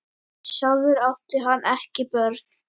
Sjálfur átti hann ekki börn.